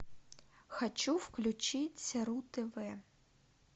хочу включить ру тв